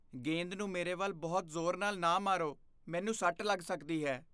ਗੇਂਦ ਨੂੰ ਮੇਰੇ ਵੱਲ ਬਹੁਤ ਜ਼ੋਰ ਨਾਲ ਨਾ ਮਾਰੋ। ਮੈਨੂੰ ਸੱਟ ਲੱਗ ਸਕਦੀ ਹੈ।